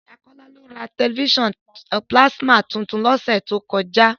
Bọ̀dá Kọ́lá ra tẹ̀lifísàn pílásímà tuntun lọ́sẹ̀ tó kọjá